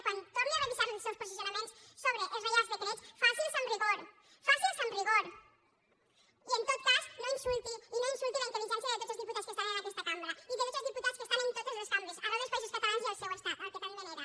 quan torni a revisar els seus posicionaments sobre el reials decrets faci ho amb rigor faciho amb rigor i en tot cas no insulti i no insulti la intel·ligència de tots els diputats que estan en aquesta cambra i de tots els diputats que estan en totes les cambres arreu dels països catalans i al seu estat que tant venera